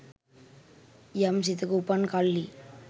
යම් සිතක උපන් කල්හි